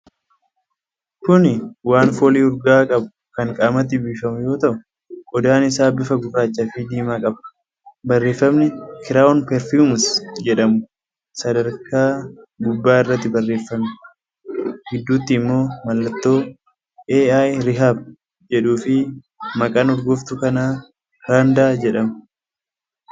Kuni waan foolii urgaa'aa qabu kan qaamatti biifamu yoo ta'u, qodaan isaa bifa gurraacha fi diimaa qaba. Barreeffami “Crown Perfumes” jedhamu sadarkaa gubbaa irratti barreessame, gidduutti immoo mallattoo “Al-Rehab” jedhu fi maqaan urgooftuu kanaa “Randa” jedhama.